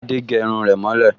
Adé gẹ irun rẹ̀ mọ́ lẹ̀